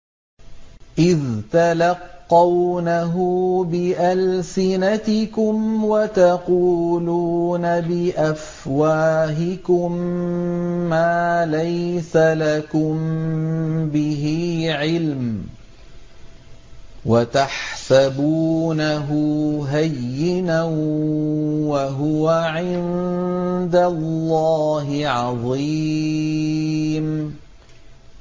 إِذْ تَلَقَّوْنَهُ بِأَلْسِنَتِكُمْ وَتَقُولُونَ بِأَفْوَاهِكُم مَّا لَيْسَ لَكُم بِهِ عِلْمٌ وَتَحْسَبُونَهُ هَيِّنًا وَهُوَ عِندَ اللَّهِ عَظِيمٌ